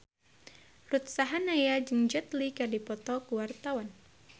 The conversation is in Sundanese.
Ruth Sahanaya jeung Jet Li keur dipoto ku wartawan